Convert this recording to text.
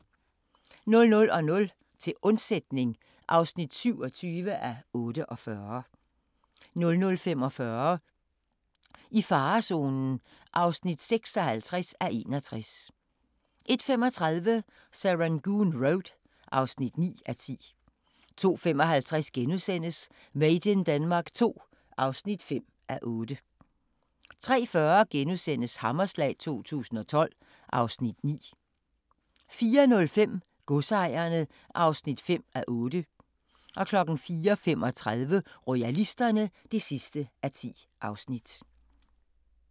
00:00: Til undsætning (27:48) 00:45: I farezonen (56:61) 01:35: Serangoon Road (9:10) 02:55: Made in Denmark II (5:8)* 03:40: Hammerslag 2012 (Afs. 9)* 04:05: Godsejerne (5:8) 04:35: Royalisterne (10:10)